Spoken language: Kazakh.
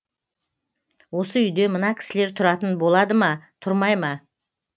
осы үйде мына кісілер тұратын болады ма тұрмай ма